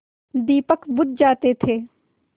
दीपक बुझ जाते थे